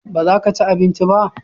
baza ka ci abinci ba?